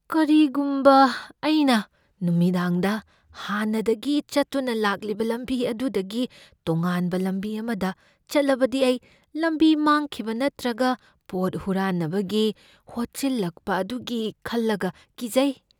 ꯀꯔꯤꯒꯨꯝꯕ ꯑꯩꯅ ꯅꯨꯃꯤꯗꯥꯡꯗ ꯍꯥꯟꯅꯗꯒꯤ ꯆꯠꯇꯨꯅ ꯂꯥꯛꯂꯤꯕ ꯂꯝꯕꯤ ꯑꯗꯨꯗꯒꯤ ꯇꯣꯉꯥꯟꯕ ꯂꯝꯕꯤ ꯑꯃꯗ ꯆꯠꯂꯕꯗꯤ ꯑꯩ ꯂꯝꯕꯤ ꯃꯥꯡꯈꯤꯕ ꯅꯠꯇ꯭ꯔꯒ ꯄꯣꯠ ꯍꯨꯔꯥꯟꯅꯕꯒꯤ ꯍꯣꯠꯆꯜꯂꯛꯄ ꯑꯗꯨꯒꯤ ꯈꯜꯂꯒ ꯀꯤꯖꯩ꯫